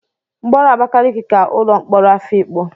Mkpọrọ Abakaliki ka ụlọ mkpọrọ Afikpo.